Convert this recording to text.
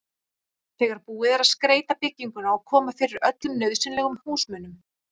þegar búið er að skreyta bygginguna og koma fyrir öllum nauðsynlegum húsmunum.